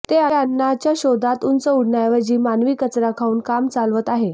ते अन्नाच्या शोधात उंच उडण्याऐवजी मानवी कचरा खाऊन काम चालवत आहे